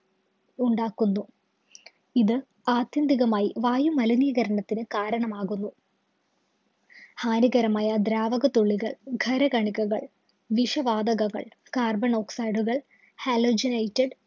ഉണ്ടാക്കുന്നു. ഇത് ആത്യന്തികമായി വായുമലിനീകരണത്തിനു കാരണമാകുന്നു. ഹാനികരമായ ദ്രാവക തുള്ളികള്‍, ഖര കണികകൾ, വിഷ വാതകങ്ങള്‍, carbon oxide ഉകള്‍, halogenitde